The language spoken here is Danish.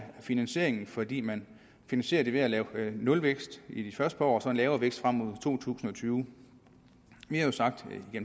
finansieringen fordi man finansierer det ved at lave nulvækst i det første par år og så en lavere vækst frem mod to tusind og tyve vi har jo sagt